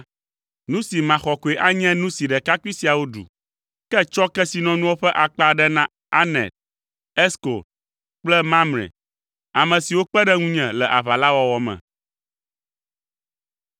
Nu si maxɔ koe anye nu si ɖekakpui siawo ɖu. Ke tsɔ kesinɔnuawo ƒe akpa aɖe na Aner, Eskol kple Mamre, ame siwo kpe ɖe ŋunye le aʋa la wɔwɔ me.”